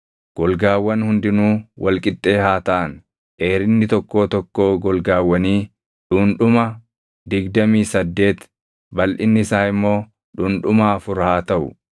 Golgaawwan hundinuu wal qixxee haa taʼan; dheerinni tokkoo tokkoo golgaawwanii dhundhuma digdamii saddeeti, balʼinni isaa immoo dhundhuma afur haa taʼu.